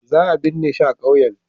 Za a binne shi a kauyen.